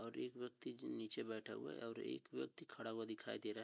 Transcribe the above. और व्यक्ति जो निचे बैठा हुआ है और एक व्यक्ति खड़ा हुआ दिखाई दे रहा है।